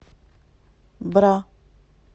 бра